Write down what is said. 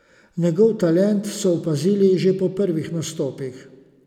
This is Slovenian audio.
Njegov talent so opazili že po prvih nastopih.